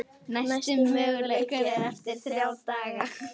Næsti möguleiki er eftir þrjá daga.